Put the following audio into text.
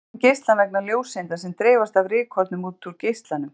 Við skynjum geislann vegna ljóseinda sem dreifast af rykkornum út úr geislanum.